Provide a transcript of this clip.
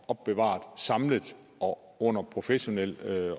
opbevaret samlet og under professionel